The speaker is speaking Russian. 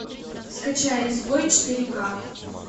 скачай изгой четыре ка